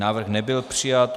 Návrh nebyl přijat.